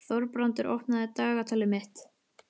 Þorbrandur, opnaðu dagatalið mitt.